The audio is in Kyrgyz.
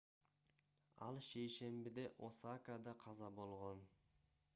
ал шейшембиде осакада каза болгон